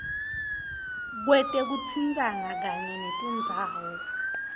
kwetekutsintsana kanye netindzawo